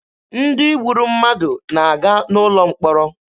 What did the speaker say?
Ndị gburu mmadụ na-aga n'ụlọ mkpọrọ.